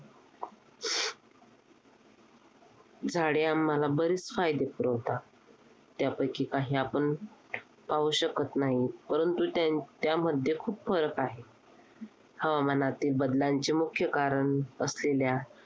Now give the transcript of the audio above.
झाडे आम्हाला बरेच फायदे पुरवतात. त्यापैकी काही आपण पाहू शकत नाही. परंतु त्या त्यामध्ये खूप फरक आहे. हवामानातील बदलांचे मुख्य कारण असलेल्या